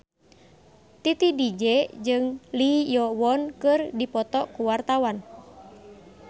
Titi DJ jeung Lee Yo Won keur dipoto ku wartawan